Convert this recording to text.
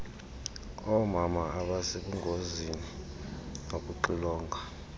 oomama abasebungozini nokuxilonga